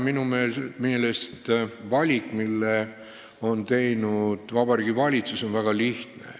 Minu meelest on valik, mille on teinud Vabariigi Valitsus, väga lihtne.